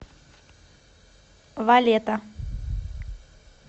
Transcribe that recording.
валета